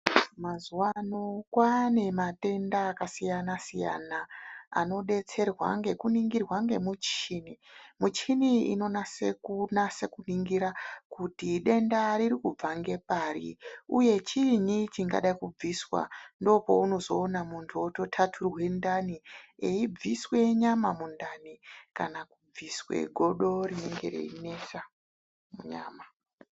Mazuwa ano kwaane matenda akasiyana siyana, ano detserwa ngeku ningirwa ngemuchini. Muchini iyi inonase kunase kuningira kuti denda riri kubva ngepari, uye chiinyi chingade kubviswa. Ndoo pounozo ona muntu woto thathurwe ndani eibviswe nyama mundani, kana kubviswe godo rinenge rei nesa munyama.